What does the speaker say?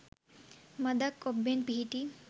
මඳක් ඔබ්බෙන් පිහිටි